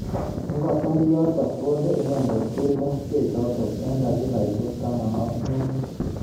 Ingotar yotok konde inendet keldo bechotok eng dakikaishek taman ak mut.